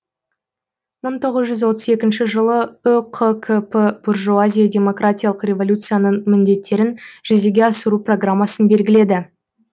мың тоғыз жүз отыз екінші жылы үқкп буржуазия демократиялық революцияның міндеттерін жүзеге асыру программасын белгіледі